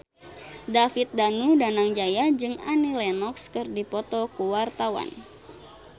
David Danu Danangjaya jeung Annie Lenox keur dipoto ku wartawan